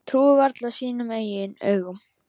Trúir varla sínum eigin augum.